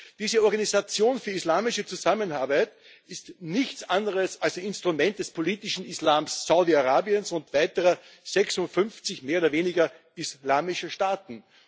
Diese Organisation für islamische Zusammenarbeit ist nichts anderes als ein Instrument des politischen Islams Saudi-Arabiens und weiterer 56 mehr oder weniger islamischer Staaten.